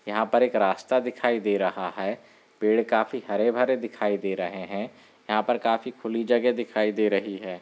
यहाँ पर एक रास्ता दिखाई दे रहा है| पेड़ काफी हरे भरे दिखाई दे रहे हैं| यहाँ पर काफी खुली जगह दिखाई दे रही है।